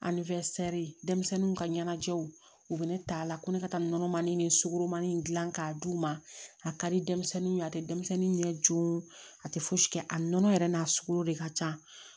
denmisɛnninw ka ɲɛnajɛw u bɛ ne ta la ko ne ka taa nɔnɔmani ni sugɔromani in dilan k'a d'u ma a ka di denmisɛnninw ye a tɛ denmisɛnnin ɲɛ joon a tɛ fosi kɛ a nɔnɔ yɛrɛ n'a sogo de ka can